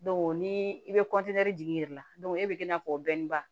ni i bɛ jigin i yɛrɛ la e bɛ i n'a fɔ o